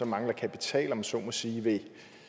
mangler kapital om man så må sige vil